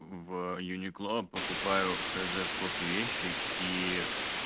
в юникло покупаю хз сколько вещи и